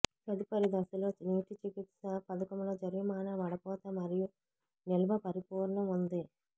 తదుపరి దశలో నీటి చికిత్స పథకంలో జరిమానా వడపోత మరియు నిల్వ పరిపూర్ణం ఉంది